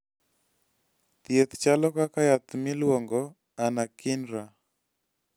thieth chalo kaka yath miluongoni anakinra